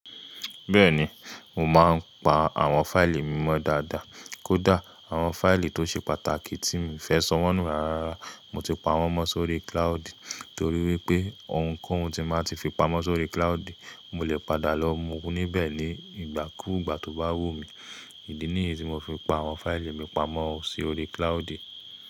Bẹ́ẹ̀ni, mo máa ń pa àwọn fáìlì mi mọ́ dáadáa. Kódà àwọn fáìlì tó ṣe pàtàkì tí mo fẹ́ sanwó nù rárá, mo ti pa wọ́n mọ́ sórí cloud. Torí wípé ohunkóhun tí máa ti fi pamọ́ sórí cloud, mo lè padà lọ mú níbẹ̀ ní ìgbàkúùgbà tó bá wù mí. Ìdí nìyí tí mo fi pa àwọn fáìlì mi pamọ́ sórí cloud.